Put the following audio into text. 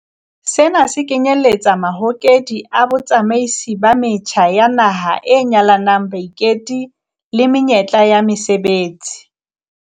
Sena se kenyeletsa mahokedi a botsamaisi ba metjha ya naha a nyalanyang baiketi le menyetla ya mesebetsi.